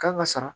Kan ka sara